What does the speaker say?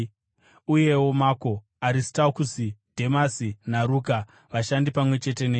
uyewo Mako, Aristakusi, Dhemasi, naRuka, vashandi pamwe chete neni.